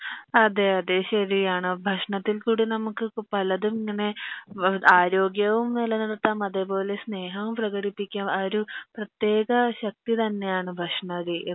അതെ അതെ ശെരി ആണ് ഭക്ഷണത്തികൂടെ നമക്ക് പലതും ഇങ്ങനെ ബ ആരോഗ്യവും നില നിർത്താം അതുപോലെ സ്നേഹവും പ്രേകടിപ്പിക്കാം അ ഒരു പ്രേതെക ശക്തി തന്നെ ആൻ ഭക്ഷണ രി